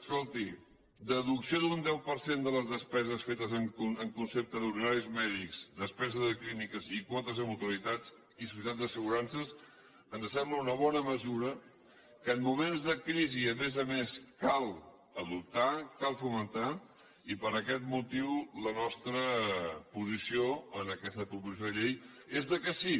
escolti deducció d’un deu per cent de les despeses fetes en concepte d’honoraris mèdics despesa de clíniques i quotes a mutualitats i societats d’assegurances ens sembla una bona mesura que en moments de crisi a més a més cal adoptar cal fomentar i per aquest motiu la nostra posició en aquesta proposició de llei és que sí